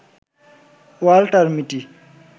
Walter মিটি